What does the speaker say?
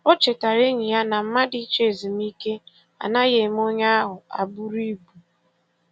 O chetara enyi ya na mmadụ ịchọ ezumike anaghị eme onye ahụ abụrụ ibu.